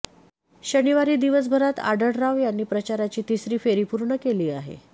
शनिवारी दिवसभरात आढळराव यांनी प्रचाराची तिसरी फेरी पूर्ण केली आहे